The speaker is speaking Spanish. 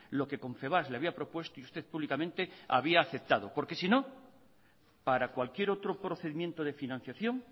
lo que confebask le había propuesto y usted públicamente había aceptado porque si no para cualquier otro procedimiento de financiación